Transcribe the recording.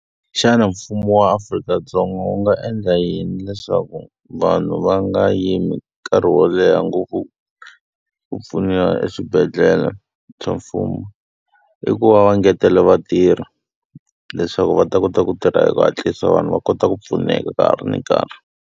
Xana mfumo wa Afrika-Dzonga wu nga endla yini leswaku vanhu va nga yimi nkarhi wo leha ngopfu ku pfuniwa eswibedhlele swa mfumo? I ku va va ngetela vatirhi leswaku va ta kota ku tirha hi ku hatlisa, vanhu va kota ku pfuneka ka ha ri na nkarhi.